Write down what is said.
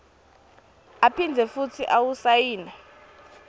aphindze futsi awusayine